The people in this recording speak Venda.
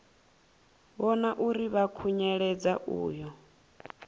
vhona uri vha khunyeledza uyo